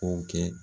K'o kɛ